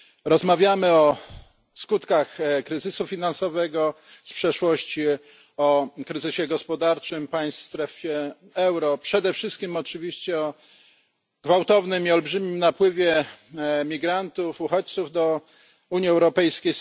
Rozmawiamy o skutkach kryzysu finansowego z przeszłości, o kryzysie gospodarczym państw w strefie euro, przede wszystkim oczywiście o gwałtownym i olbrzymim napływie migrantów, uchodźców do Unii Europejskiej.